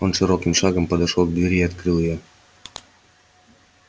он широким шагом подошёл к двери и открыл её